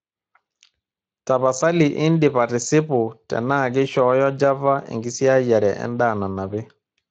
tapasali indip atisipu tenaa keishooyo java enkisiayiare endaa nanapi